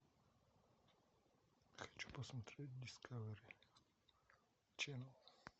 хочу посмотреть дискавери ченал